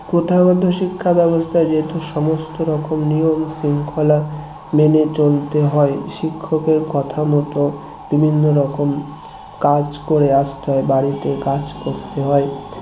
প্রথাগত শিক্ষা ব্যবস্থায় যেহেতু সমস্ত রকম নিয়ম শৃঙ্খলা মেনে চলতে হয় শিক্ষকের কথা মত বিভিন্ন রকম কাজ করে আসতে হয় বাড়িতে কাজ করতে হয়